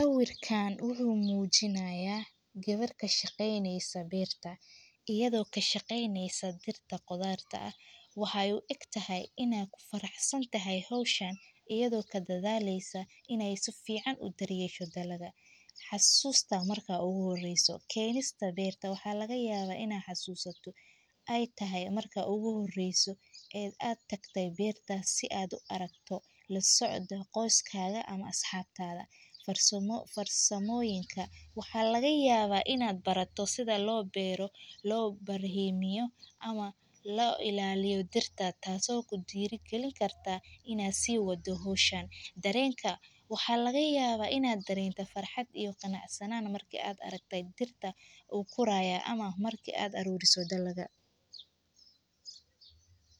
Sawirkan wuxuu mujinaya geewer kashaqeyneso beerta iyada kashaqeyneso dirta beerta iyada oo faraxsan hishan iyada oo kadashaleysa hoshan marki ogu horeyse aa aragte beerta waxaa barani kartaa si lo beero ama lo ilaliyo beerta darenka waxaaa laga yawa inta beerto faraxsanan iyo matka aad aruri so dalaga.